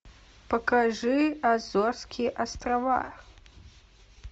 покажи азорские острова